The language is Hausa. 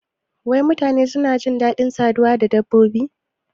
Wai mutane suna jin dadin saduwa da dabbobi?